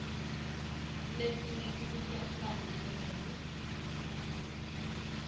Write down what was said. letinye tibita imali lenengi